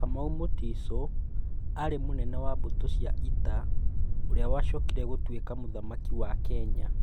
Kamau Mutiso aarĩ mũnene wa mbũtũ cia ita ũrĩa wacokire gũtuĩka Mũthamaki wa Kenya.